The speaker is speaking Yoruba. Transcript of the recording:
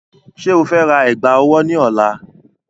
Ṣé o fe ra ẹ̀gbà ọwọ́ náà ní ọ̀la?